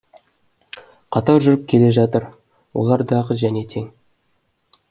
қатар жүріп келе жатыр олардағы және тең